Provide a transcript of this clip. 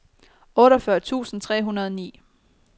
otteogfyrre tusind tre hundrede og ni